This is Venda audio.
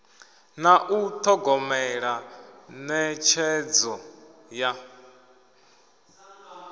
na u thogomela netshedzo ya